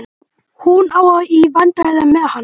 Hún á í vandræðum með hann.